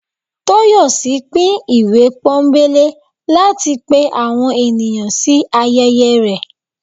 Toyòsí pín ìwé pónbelé latí pẹ àwọn enìyan sí ayẹyẹ rẹ